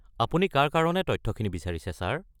আপুনি কাৰ কাৰণে তথ্যখিনি বিচাৰিছে ছাৰ?